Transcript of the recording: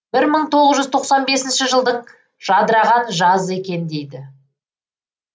бір мың тоғыз жүз тоқсан бесінші жылдың жадыраған жазы екен дейді